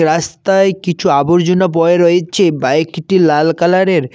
রাস্তায় কিছু আবর্জনা বয়ে রয়েছে বাইকটি লাল কালারের।